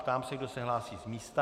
Ptám se, kdo se hlásí z místa.